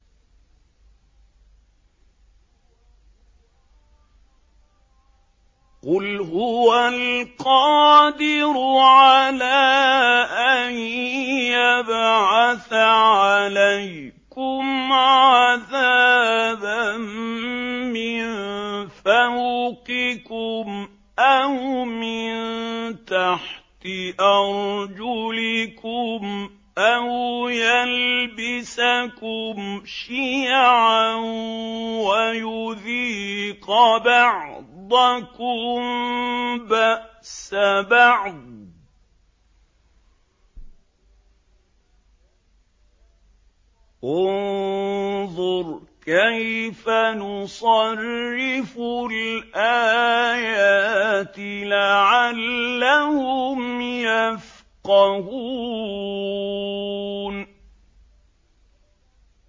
قُلْ هُوَ الْقَادِرُ عَلَىٰ أَن يَبْعَثَ عَلَيْكُمْ عَذَابًا مِّن فَوْقِكُمْ أَوْ مِن تَحْتِ أَرْجُلِكُمْ أَوْ يَلْبِسَكُمْ شِيَعًا وَيُذِيقَ بَعْضَكُم بَأْسَ بَعْضٍ ۗ انظُرْ كَيْفَ نُصَرِّفُ الْآيَاتِ لَعَلَّهُمْ يَفْقَهُونَ